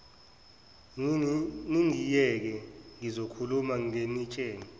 ningiyeke ngizokhuluma nginitshele